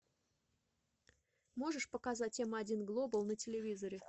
можешь показать м один глобал на телевизоре